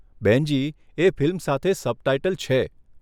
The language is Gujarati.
બહેનજી, એ ફિલ્મ સાથે સબટાઈટલ છે.